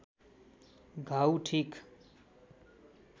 घाउ ठिक